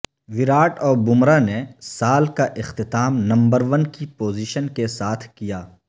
وراٹ اور بمراہ نے سال کا اختتام نمبر ون کی پوزیشن کے ساتھ کیا